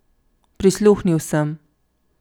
Prisluhnil sem.